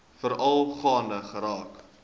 veral gaande geraak